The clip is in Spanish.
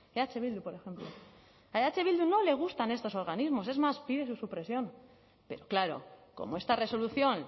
eh bildu por ejemplo a eh bildu no le gustan estos organismos es más pide su supresión pero claro como esta resolución